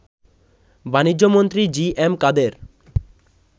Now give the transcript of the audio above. বাণিজ্যমন্ত্রী G M কাদের